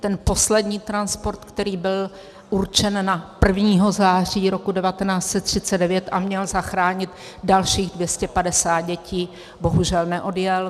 Ten poslední transport, který byl určen na 1. září roku 1939 a měl zachránit dalších 250 dětí, bohužel neodjel.